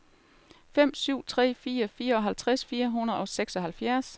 fem syv tre fire fireoghalvtreds fire hundrede og seksoghalvfjerds